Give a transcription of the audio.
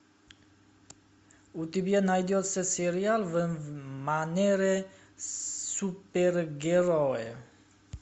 у тебя найдется сериал в манере супергероев